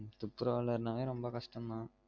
துப்புரவாலர்நாலே ரொம்ப கஷ்டம் தான்